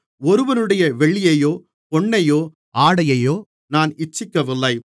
ஒருவனுடைய வெள்ளியையோ பொன்னையோ ஆடையையோ நான் இச்சிக்கவில்லை